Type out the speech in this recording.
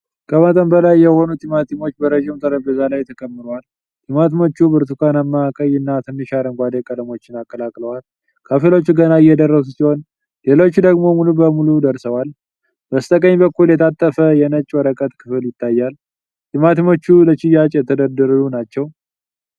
ከመጠን በላይ የሆኑ ቲማቲሞች በረዥም ጠረጴዛ ላይ ተከምረዋል። ቲማቲሞቹ ብርቱካናማ፣ ቀይና ትንሽ አረንጓዴ ቀለሞችን አቀላቅለዋል። ከፊሎቹ ገና እየደረሱ ሲሆን፣ ሌሎች ደግሞ ሙሉ በሙሉ ደርሰዋል። በስተቀኝ በኩል የታጠፈ የነጭ ወረቀት ክፍል ይታያል። ቲማቲሞቹ ለሽያጭ የተደረደሩ ናቸው።